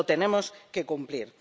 Lo tenemos que cumplir.